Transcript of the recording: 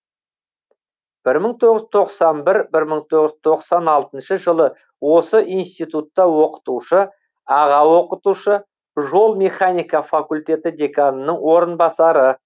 бір мың тоғыз жүз тоқсан бір бір мың тоғыз жүз тоқсан алтыншы жылы осы институтта оқытушы аға оқытушы жол механика факультеті деканының орынбасары